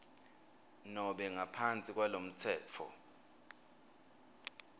nobe ngaphansi kwalomtsetfo